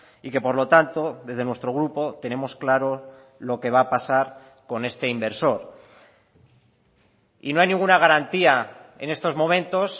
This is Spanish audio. y que por lo tanto desde nuestro grupo tenemos claro lo que va a pasar con este inversor y no hay ninguna garantía en estos momentos